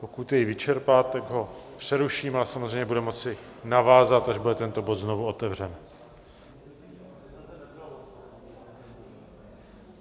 Pokud jej vyčerpá, tak ho přeruším a samozřejmě bude moci navázat, až bude tento bod znovu otevřen.